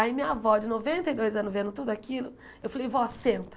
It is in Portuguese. Aí minha avó, de noventa e dois anos vendo tudo aquilo, eu falei, vó, senta.